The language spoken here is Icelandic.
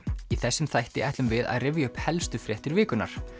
í þessum þætti ætlum við að rifja upp helstu fréttir vikunnar